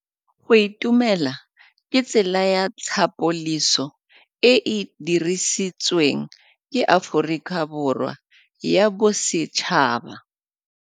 Go itumela ke tsela ya tlhapolisô e e dirisitsweng ke Aforika Borwa ya Bosetšhaba.